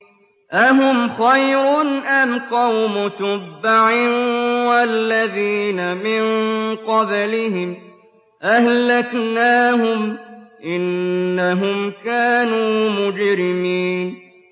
أَهُمْ خَيْرٌ أَمْ قَوْمُ تُبَّعٍ وَالَّذِينَ مِن قَبْلِهِمْ ۚ أَهْلَكْنَاهُمْ ۖ إِنَّهُمْ كَانُوا مُجْرِمِينَ